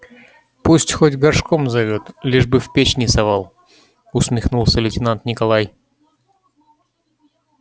пусть хоть горшком зовёт лишь бы в печь не совал усмехнулся лейтенант николай